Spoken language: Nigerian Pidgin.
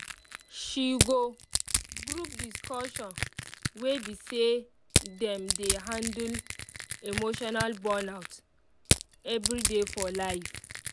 she go um group discussion wey be say dem um dey handle um emotional burnout everyday for life